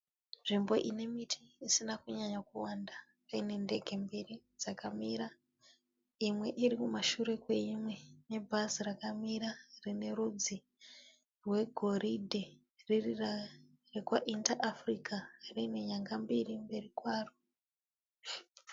Nzvimbo ine miti isina kunyanya kuwanda. Paine ndege mbiri dzakamira. Imwe iri kumashure kweimwe. Ne bhazi rakamira rine rudzi rwe goridhe riri rekwa Inter Africa rine nyanga mbiri mberi kwaro .